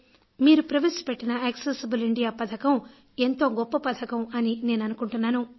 మీరు ప్రవేశపెట్టిన accessible India పథకం ఎంతో గొప్ప పథకం అని నేను అనుకుంటున్నాను